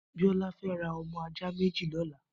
Biola fè rà ọmọ àjá méji lọlá